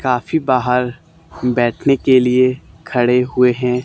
काफी बाहर बैठने के लिए खड़े हुए हैं।